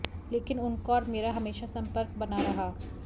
लेकिन उनका और मेरा हमेशा संपर्क बना रहा